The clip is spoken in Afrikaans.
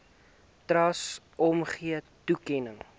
trust omgee toekenning